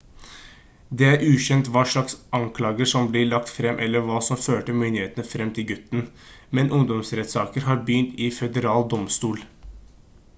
det er ukjent hva slags anklager som blir lagt frem eller hva som førte myndighetene frem til gutten men ungdomsrettssaker har begynt i føderal domstol